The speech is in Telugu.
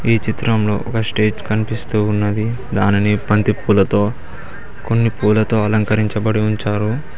ఈ చిత్రంలో ఒక స్టేజ్ కనిపిస్తూ ఉన్నది దానిని బంతిపూలతో కొన్ని పూలతో అలంకరించబడి ఉంచారు.